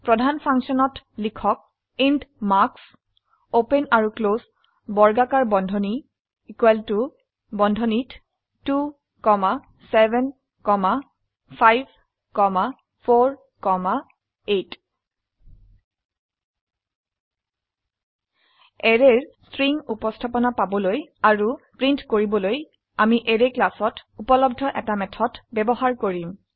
প্ৰধান ফাংশনত লিখক ইণ্ট মাৰ্কছ ওপেন আৰু ক্লোস বৰ্গাকাৰবন্ধনী বন্ধনীত 2 7 5 4 8 অ্যাৰেৰ স্ট্ৰিং উপস্থাপনা পাবলৈ আৰু প্ৰিন্ট কৰিবলৈ আমি অ্যাৰে ক্লাসত উপলব্ধ এটা মেথড ব্যবহাৰ কৰিম